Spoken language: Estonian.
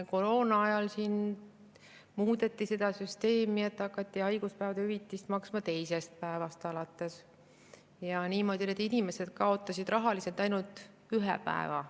Koroona ajal siin muudeti seda süsteemi nii, et hakati haiguspäevade hüvitist maksma teisest päevast alates, niimoodi inimesed kaotasid rahaliselt ainult ühe päeva.